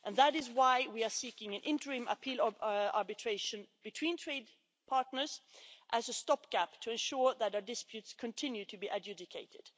And that is why we are seeking an interim appeal of arbitration between trade partners as a stop gap to ensure that our disputes continue to be adjudicated.